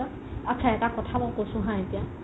আত্চা এটা কথা মই কৈছো হা এতিয়া